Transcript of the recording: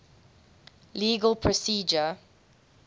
legal procedure